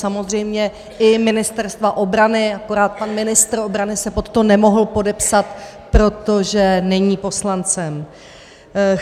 Samozřejmě i Ministerstva obrany, akorát pan ministr obrany se pod to nemohl podepsat, protože není poslancem.